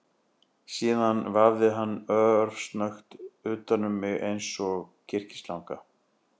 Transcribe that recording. Síðan vafði hann sig örsnöggt utan um mig eins og kyrkislanga